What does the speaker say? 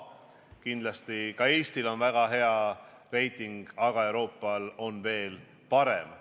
Kindlasti on ka Eestil väga hea reiting, aga Euroopal on veel parem.